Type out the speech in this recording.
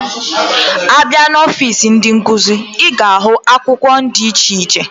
Abia na ọfịs ndi nkuzi, iga ahu akwukwo di iche iche.